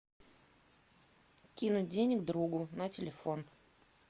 кинуть денег другу на телефон